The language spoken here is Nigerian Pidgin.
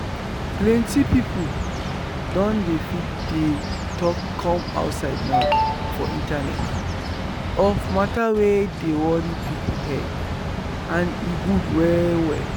plenty people don dey fit dey talk come outside now for internet of matter wey dey worry people head and e good well well